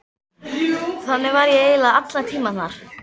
Þannig var ég eiginlega allan tímann þar.